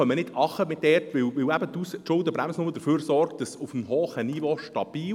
Wir kommen nicht herunter, weil die Schuldenbremse nur für Stabilität auf hohem Niveau sorgt.